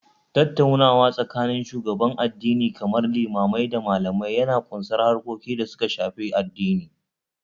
Tattaunawa tsakanin shugabannin addini kamar limamai da kalamai Yana ƙunsar harkokin da suka Shafi addini